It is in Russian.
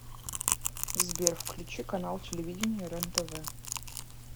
сбер включи канал телевидения рен тв